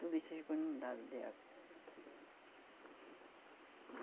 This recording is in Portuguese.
Tudo isso ficou inundado de água.